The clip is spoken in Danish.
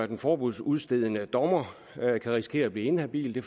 den forbudsudstedende dommer kan risikere at blive inhabil det